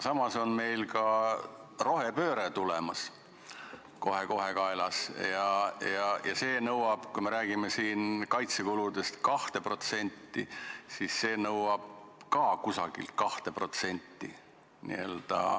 Samas on meil ka rohepööre tulemas, kohe-kohe kaelas, ja kui me räägime siin 2%-st kaitsekuludest, siis see nõuab ka umbes 2%.